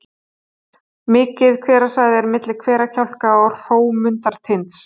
Mikið hverasvæði er milli Hverakjálka og Hrómundartinds.